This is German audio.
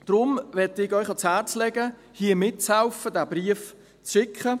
Deshalb möchte ich Ihnen ans Herz legen, hier mitzuhelfen, diesen Brief abzuschicken.